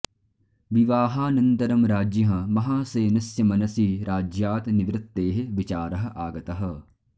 विवाहानन्तरं राज्ञः महासेनस्य मनसि राज्यात् निवृत्तेः विचारः आगतः